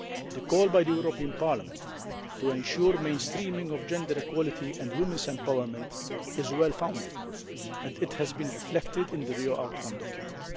The call by the European Parliament to ensure mainstreaming of gender equality and women's empowerment is well founded and it has been reflected in the Rio outcome document.